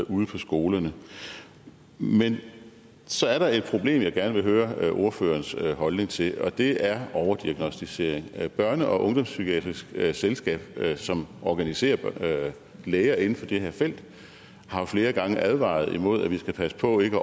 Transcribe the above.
ude på skolerne men så er der et problem jeg gerne vil høre ordførerens holdning til og det er overdiagnosticering børne og ungdomspsykiatrisk selskab som organiserer læger inden for det her felt har jo flere gange advaret imod at vi skal passe på ikke at